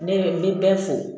Ne bɛ n bɛ fo